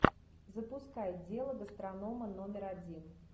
запускай дело гастронома номер один